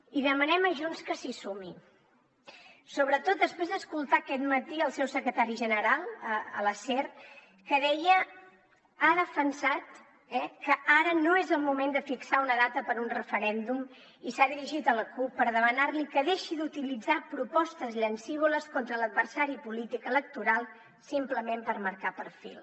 i demanem a junts que s’hi sumi sobretot després d’escoltar aquest matí el seu secretari general a la ser que ha defensat que ara no és el moment de fixar una data per a un referèndum i s’ha dirigit a la cup per demanarli que deixi d’utilitzar propostes llancívoles contra l’adversari polític electoral simplement per marcar perfil